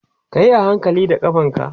kayi hankali da ƙafanka!